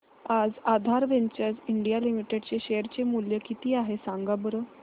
आज Aadhaar ventures India limited चे share चे मूल्य किती आहे सांगा बरं